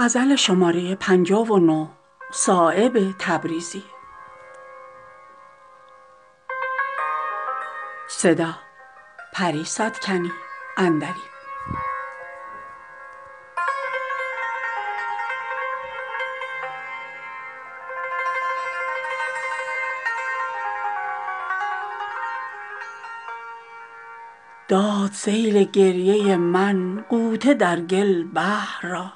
داد سیل گریه من غوطه در گل بحر را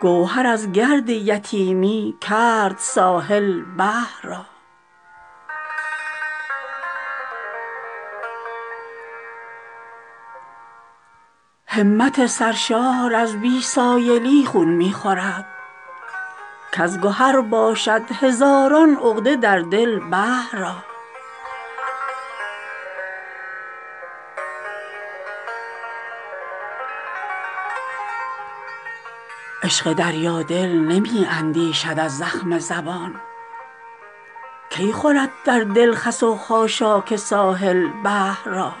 گوهر از گرد یتیمی کرد ساحل بحر را همت سرشار از بی سایلی خون می خورد کز گهر باشد هزاران عقده در دل بحر را عشق دریا دل نمی اندیشد از زخم زبان کی خلد در دل خس و خاشاک ساحل بحر را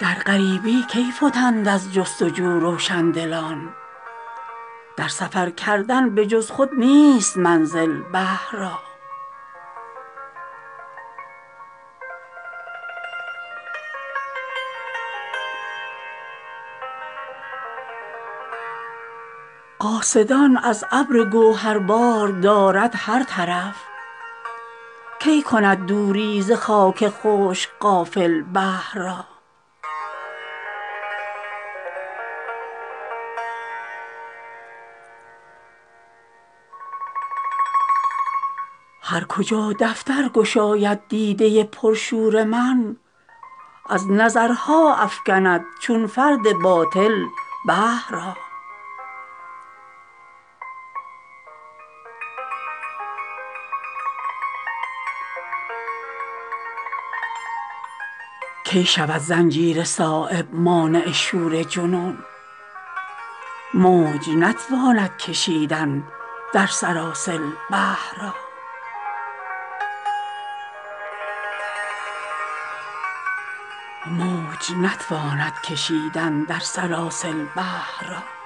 در غریبی کی فتند از جستجو روشندلان در سفر کردن به جز خود نیست منزل بحر را قاصدان از ابر گوهربار دارد هر طرف کی کند دوری ز خاک خشک غافل بحر را هر کجا دفتر گشاید دیده پر شور من از نظرها افکند چون فرد باطل بحر را کی شود زنجیر صایب مانع شور جنون موج نتواند کشیدن در سلاسل بحر را